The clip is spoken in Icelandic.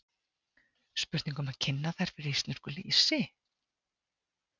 Spurning um að kynna þær fyrir íslensku lýsi?